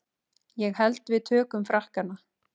Ég held við tökum Frakkana.